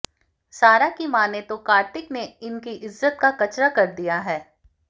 सारा की मानें तो कार्तिक ने उनकी इज्जत का कचरा कर दिया है